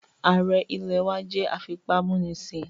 Ààrẹ ilẹ̀ wá jẹ́ afipámúnisìn